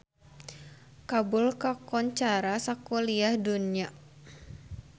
Kabul kakoncara sakuliah dunya